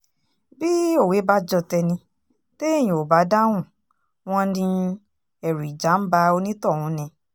bí òwe bá jọ tẹni téèyàn ò bá dáhùn wọn ni ẹ̀rù ìjà ń ba onítọ̀hún ni